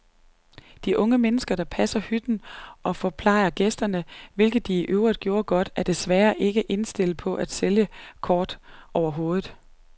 De unge mennesker, der passer hytten og forplejer gæsterne, hvilket de forøvrigt gjorde godt, er desværre ikke indstillet på at sælge kort overhovedet.